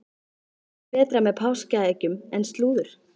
Hvað er betra með páskaeggjunum en slúður?